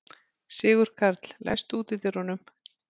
Sigurkarl, læstu útidyrunum.